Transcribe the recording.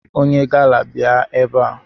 Onye gala bịa ebe a!